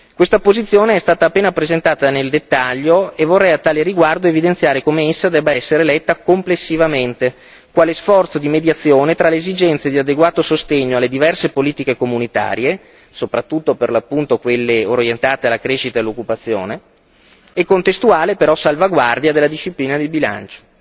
Questa posizione è stata appena presentata nel dettaglio e vorrei a tale riguardo evidenziare come essa debba essere letta complessivamente quale sforzo di mediazione tra le esigenze di adeguato sostegno alle diverse politiche comunitarie, soprattutto per l'appunto quelle orientate alla crescita e all'occupazione, e contestuale però salvaguardia della disciplina di bilancio.